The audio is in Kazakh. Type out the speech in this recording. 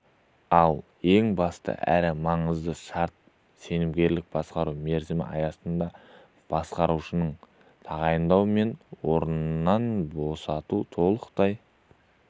ал ең басты әрі маңызды шарт сенімгерлік басқару мерзімі аясында басқарушыны тағайындау мен орнынан босату толықтай